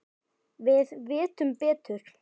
Við vitum betur